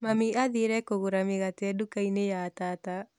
Mami athire kũgũra mĩgate nduka-inĩ ya tata